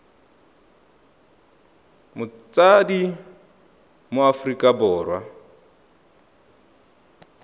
motsadi wa mo aforika borwa